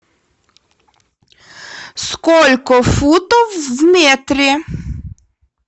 сколько футов в метре